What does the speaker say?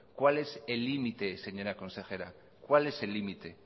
cuál es el límite señora consejera cuál es el límite